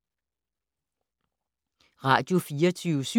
Radio24syv